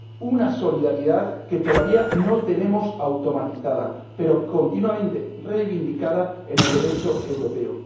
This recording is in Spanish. Una solidaridad que todavía no tenemos automatizada, pero continuamente reivindicada en el Derecho europeo.